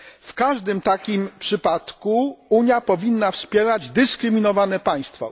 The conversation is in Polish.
W każdym takim przypadku Unia powinna wspierać dyskryminowane państwo.